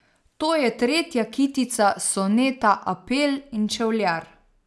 To je tretja kitica soneta Apel in čevljar.